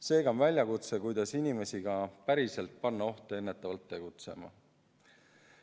Seega on väljakutse, kuidas inimesi ka päriselt panna ohtu ennetavalt tegutsema.